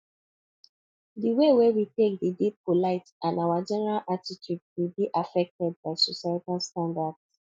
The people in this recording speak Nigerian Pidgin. di wey we take dey de polite and our general attitude dey de affected by societal standards